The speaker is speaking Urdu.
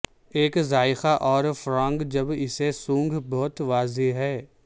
ایک ذائقہ اور فراانگ جب اسے سونگھ بہت واضح ہے